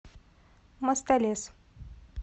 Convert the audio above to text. мостолес